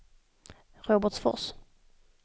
Robertsfors